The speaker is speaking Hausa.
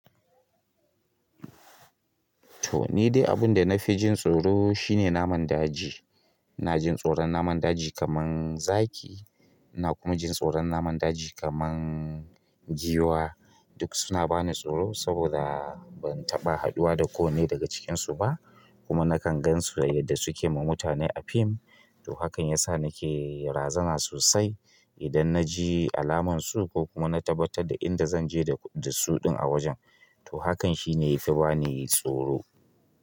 To ni dai abin da na fi jin tsoro shi ne naman daji ina jin tsoron naman daji kamar zaki. Ina kuma jin tsoron naman daji kamar giwa. Duk suna bani tsoro saboda ban taɓa haɗuwa da kowanne daga cikinsu ba, kuma na kan gan su yadda su ke ma mutane a fim. To, hakan ya sa na ke razana sosai idan na ji alaman su ko kuma na tabbatar da inda zan je da su ɗin a wajen. To, hakan shi ne ya fi bani tsoro.